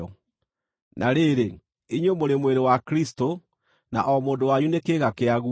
Na rĩrĩ, inyuĩ mũrĩ mwĩrĩ wa Kristũ, na o mũndũ wanyu nĩ kĩĩga kĩaguo.